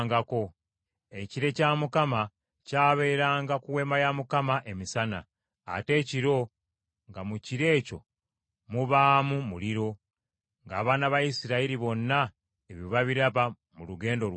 Ekire kya Mukama kyabeeranga ku Weema ya Mukama emisana, ate ekiro nga mu kire ekyo mubaamu muliro, ng’abaana ba Isirayiri bonna ebyo babiraba mu lugendo lwabwe lwonna.